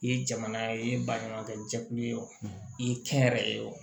I ye jamana i ye baɲumankɛ jɛkulu ye o ye kɛn yɛrɛ ye